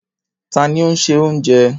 Ta ni ó́ ń ṣe oúnjẹ?